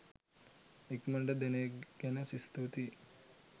ඉක්මනට දෙන එක ගැන ස්තුතියි.